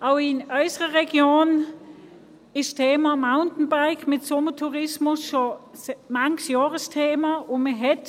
Auch in unserer Region ist das Mountainbiken mit dem Sommertourismus schon seit vielen Jahren ein Thema.